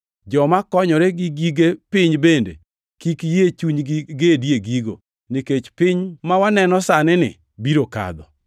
joma konyore gi gige piny bende kik yie chunygi gedi e gigo, nikech piny ma waneno sani-ni biro kadho.